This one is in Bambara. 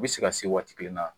I bɛ se ka se waati kelen na.